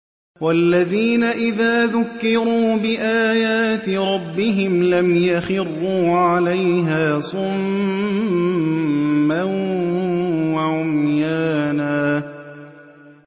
وَالَّذِينَ إِذَا ذُكِّرُوا بِآيَاتِ رَبِّهِمْ لَمْ يَخِرُّوا عَلَيْهَا صُمًّا وَعُمْيَانًا